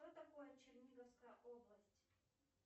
что такое черниговская область